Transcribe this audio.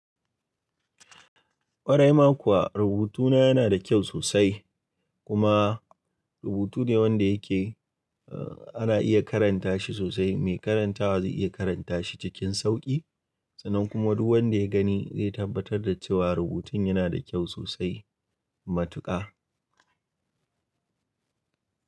Kwarai ma kuwa rubutuna yana da kyau sosai kuma rubutu ne wanda yake, ana iya karanta shi sosai. Mai karanta zai iya karanta shi cikin sauƙi sannan kuma duk wanda ya gani zai tabbatar da cewa rubutun yana da kyau sosai. Matuƙa.